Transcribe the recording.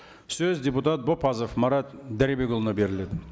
сөз депутат бопазов марат дәрібекұлына беріледі